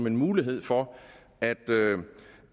en mulighed for at